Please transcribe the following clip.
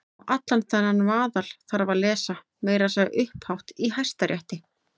Og allan þennan vaðal þarf að lesa- meira að segja upphátt í Hæstarétti!